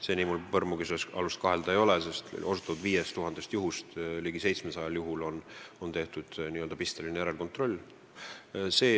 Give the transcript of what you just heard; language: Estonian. Seni ei ole mul põrmugi alust selles kahelda, sest osutatud 5000 teenusest ligi 700 juhul on tehtud pistelist järelkontrolli.